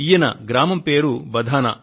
ఈయన గ్రామం పేరు బధానా